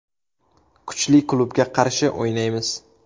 Kuchli klubga qarshi o‘ynaymiz.